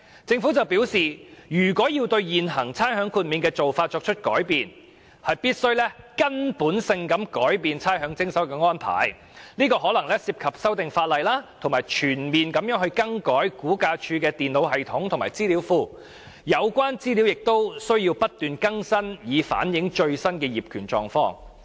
政府表示要改變現行差餉豁免的做法，必須徹底改變徵收差餉的安排，當中可能涉及修訂法例，全面更改差餉物業估價署的電腦系統和資料庫，有關資料亦須不斷更新，以反映最新的業權狀況。